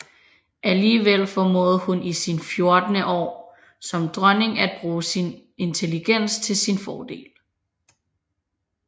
Alligevel formåede hun i sine fjorten år som dronning at bruge sin intelligens til sin fordel